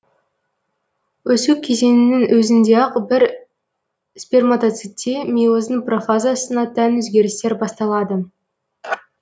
өсу кезеңінің өзінде ақ бір сперматоцитте мейоздың профазасына тән өзгерістер басталады